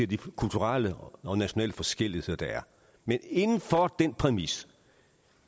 de kulturelle og nationale forskelligheder der er men inden for den præmis